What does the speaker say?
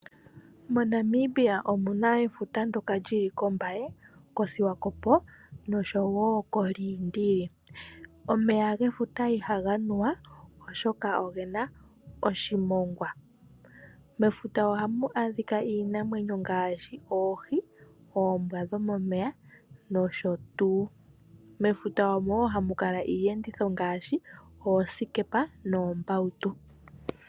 MoNamibia omuna efuta ndoka lili kOmbaye ,koSwakopo oshowo koLindili omeya gefuta ihaga nuwa oshoka ogena oshimongwa mefuta ohamu adhika iinimwenyo ngaashi oohi ,oombwa dhomomeya nosho tuu mefuta omo wo hamu kala iiyenditho ngaashi oosikepa noombautu.